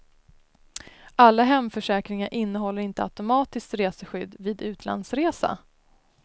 Alla hemförsäkringar innehåller inte automatiskt reseskydd vid utlandsresa.